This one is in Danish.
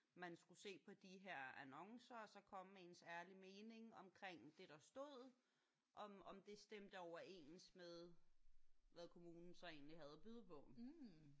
Man skulle se på de her annoncer og så komme med ens ærlige mening omkring det der stod. Om om det stemte overens med hvad kommunen så egentlig havde at byde på